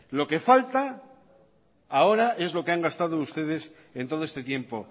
lo que falta ahora es lo que han gastado ustedes en todo este tiempo